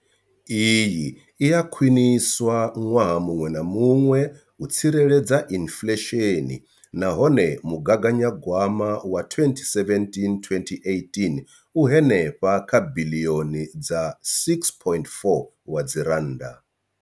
Iyi i a khwiniswa ṅwaha muṅwe na muṅwe u tsireledza inflesheni nahone mugaganyagwama wa 2017 2018 u henefha kha biḽioni dza R6.4.